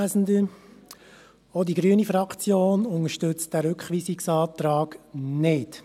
Auch die grüne Fraktion unterstützt diesen Rückweisungsantrag .